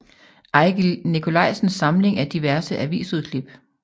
Ejgil Nikolajsens Samling af diverse avisudklip